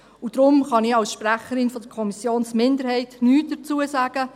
Deshalb kann ich als Sprecherin der Kommissionsminderheit nichts dazu sagen.